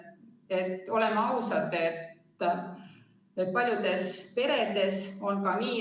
Võtame kas või Soome mudeli või mis iganes.